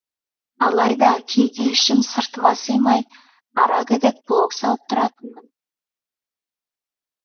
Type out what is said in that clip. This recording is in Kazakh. алайда кейде ішім сыртыма симай ара гідік блог салып тұратынмын